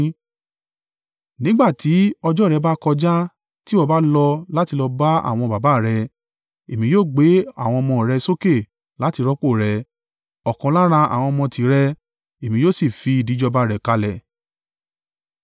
nígbà ti ọjọ́ rẹ bá kọjá, tí ìwọ bá lọ láti lọ bá àwọn baba à rẹ, Èmi yóò gbé àwọn ọmọ rẹ sókè láti rọ́pò rẹ, ọ̀kan lára àwọn ọmọ tìrẹ, Èmi yóò sì fìdí ìjọba rẹ̀ kalẹ̀.